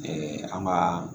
an ka